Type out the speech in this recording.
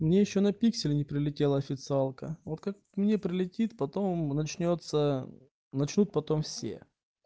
мне ещё на пиксель не прилетела официалка вот как мне прилетит потом начнётся начнут потом все